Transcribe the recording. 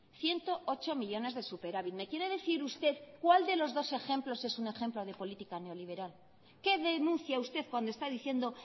ciento ocho millónes de superávit me quiere decir usted cuál de los dos ejemplos es un ejemplo de política neoliberal qué denuncia usted cuando está diciendo